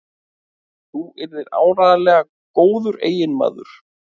Þú yrðir áreiðanlega góður eiginmaður.